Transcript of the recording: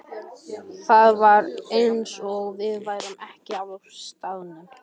Það var eins og við værum ekki á staðnum.